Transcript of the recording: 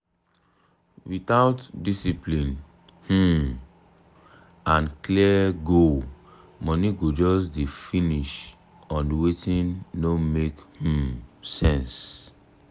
without discipline um and clear goal money go just dey finish on wetin no make um sense.